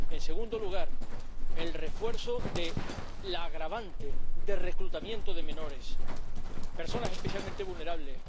En segundo lugar, el refuerzo de la agravante del reclutamiento de menores, personas especialmente vulnerables.